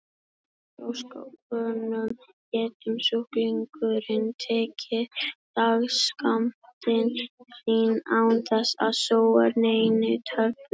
Hvernig í ósköpunum getur sjúklingurinn tekið dagsskammtinn sinn án þess að sóa neinni töflu?